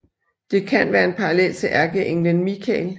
Det kan være en parallel til ærkeenglen Mikael